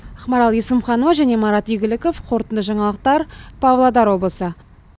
ақмарал есімханова марат игіліков қорытынды жаңалықтар павлодар облысы